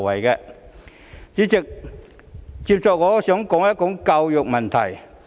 代理主席，接下來我想談談教育問題。